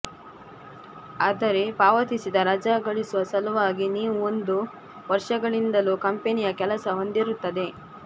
ಆದರೆ ಪಾವತಿಸಿದ ರಜಾ ಗಳಿಸುವ ಸಲುವಾಗಿ ನೀವು ಒಂದು ವರ್ಷಗಳಿಂದಲೂ ಕಂಪನಿಯ ಕೆಲಸ ಹೊಂದಿರುತ್ತದೆ